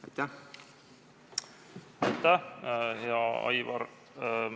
Aitäh, hea Aivar!